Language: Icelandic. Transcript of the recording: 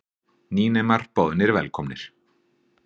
Nýnemar boðnir velkomnir